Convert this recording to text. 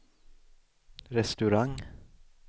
restaurang